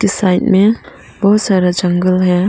Side में बहुत सारा जंगल है।